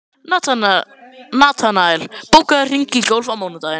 Natanael, bókaðu hring í golf á mánudaginn.